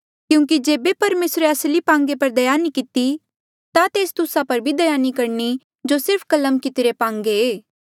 क्यूंकि जेबे परमेसरे असली पांगे पर दया नी किती ता तेस तुस्सा पर भी दया नी करणी जो सिर्फ कलम कितरे पांगे